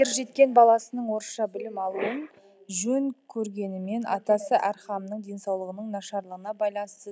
ержеткен баласының орысша білім алуын жөн көргенімен атасы әрхамның денсаулығының нашарлығына байланысты